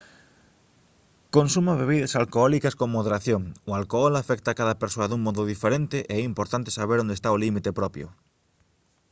consuma bebidas alcohólicas con moderación o alcohol afecta a cada persoa dun modo diferente e é importante saber onde está o límite propio